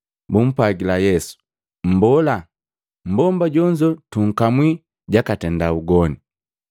Bumpwajila Yesu, “Mbola, Mbomba jonzo tukamwi jakatenda ugoni.